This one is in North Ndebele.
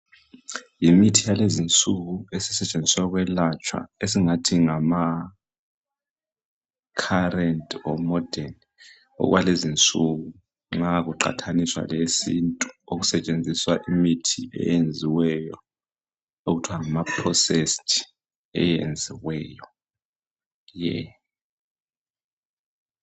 Yimithi yakulezinsuku esisetshenziswa ukwelapha esingathi ngama current or morden okwalezinsuku nxa kuqathaniswa leyesintu okusetshenziswa imithi eyenziweyo okuthiwa ngama processed.